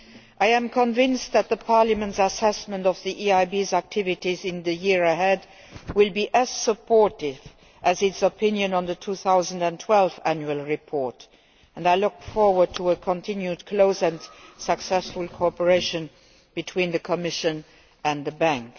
I am convinced that Parliamentʼs assessment of the EIBʼs activities in the year ahead will be as supportive as its opinion on the 2012 Annual Report, and I look forward to continued close and successful cooperation between the Commission and the Bank.